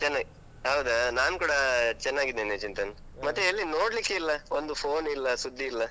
ಚೆನ್ನಾಗಿ, ಹೌದಾ ನಾನ್ಕೂಡ ಚೆನ್ನಾಗಿದ್ದೇನೆ ಚಿಂತನ್. ಮತ್ತೆ ಎಲ್ಲಿ ನೋಡ್ಲಿಕ್ಕೆ ಇಲ್ಲ, ಒಂದು phone ಇಲ್ಲ ಸುದ್ದಿ ಇಲ್ಲ.